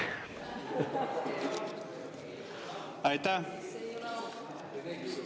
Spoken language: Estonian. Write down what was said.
Aitäh!